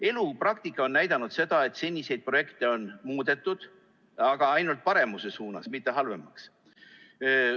Elu, praktika, on näidanud seda, et seniseid projekte on muudetud, aga ainult paremuse suunas, mitte ei ole tehtud halvemaks.